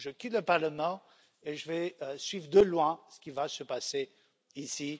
Je quitte le Parlement et je vais suivre de loin ce qui va se passer